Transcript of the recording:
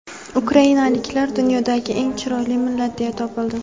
Ukrainaliklar dunyodagi eng chiroyli millat deya topildi.